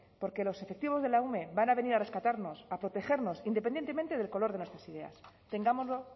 porque los efectivos de la ume van a venir a rescatarnos a protegernos independientemente del color de nuestras ideas tengámoslo